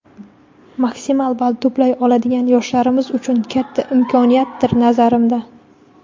maksimal ball to‘play oladigan yoshlarimiz uchun katta imkoniyatdir, nazarimda.